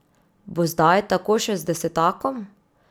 Bo zdaj tako še z desetakom?